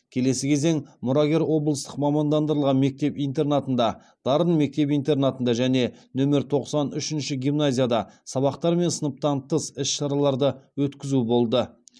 келесі кезең мұрагер облыстық мамандандырылған мектеп интернатында дарын мектеп интернатында және нөмер тоқсан үшінші гимназияда сабақтар мен сыныптан тыс іс шараларды өткізу болды